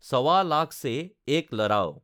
সৱা লাখ সে এক লড়াও,